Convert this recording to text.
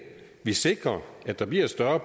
sikrer at der bliver et større